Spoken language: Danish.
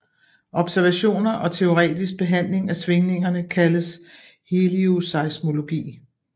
Observationer og teoretisk behandling af svingningerne kaldes helioseismologi